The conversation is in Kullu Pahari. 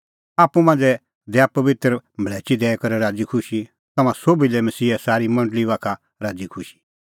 आप्पू मांझ़ै दैआ पबित्र मल़्हैची दैई करै राज़ीखुशी तम्हां सोभी लै मसीहे सारी मंडल़ी बाखा राज़ीखुशी